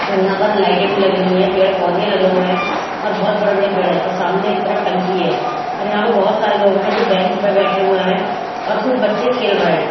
और यहां पर लाइटें भी लगी हुई हैं पेड़ पौधे लगे हुए हैं और बहुत बड़े बड़े पेड़ हैं और सामने की तरफ टंकी है और यहां पर बहुत सारे लोग हैं जो बेंच पर बैठे हुए हैं और कुछ बच्चे खेल रहे हैं।